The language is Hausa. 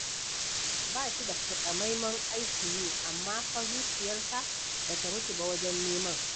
Ba shi da taƙamaiman aikin yi, amma fa zuciyarsa ba ta mutu ba wajen neman.